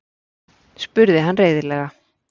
spurði hann reiðilega.